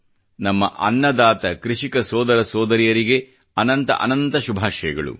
ನಮ್ಮ ಅನ್ನದಾತ ಕೃಷಿಕ ಸೋದರ ಸೋದರಿಯರಿಗೆ ಅನಂತ ಅನಂತ ಶುಭಾಷಯಗಳು